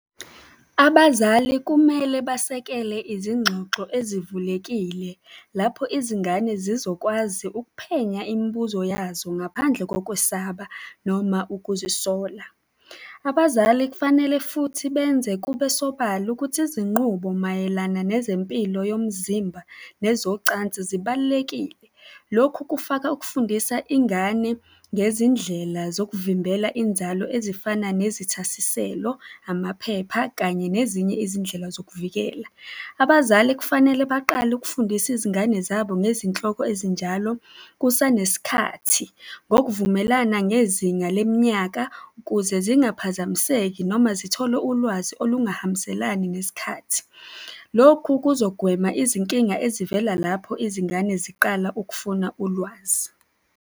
Abazali kumele basekele izingxoxo ezivulekile lapho izingane zizokwazi ukuphenya imibuzo yazo ngaphandle kokwesaba noma ukuzisola. Abazali kufanele futhi benze kube sobala ukuthi izinqubo mayelana nezempilo yomzimba nezocansi zibalulekile. Lokhu kufaka ukufundisa ingane ngezindlela zokuvimbela inzalo, ezifana nezithasiselo, amaphepha kanye nezinye izindlela zokuvikela. Abazali kufanele baqale ukufundisa izingane zabo ngezinhloko ezinjalo kusanesikhathi, ngokuvumelana ngezinga leminyaka ukuze zingaphazamiseki noma zithole ulwazi olungahambiselani nesikhathi. Lokhu kuzogwema izinkinga ezivela lapho izingane ziqala ukufuna ulwazi.